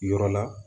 Yɔrɔ la